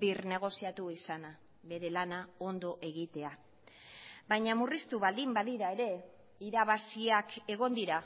birnegoziatu izana bere lana ondo egitea baina murriztu baldin badira ere irabaziak egon dira